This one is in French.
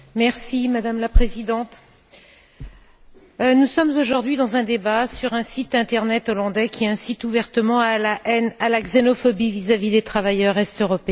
Madame la Présidente, nous sommes aujourd'hui dans un débat sur un site internet hollandais qui incite ouvertement à la haine, à la xénophobie vis à vis des travailleurs est européens.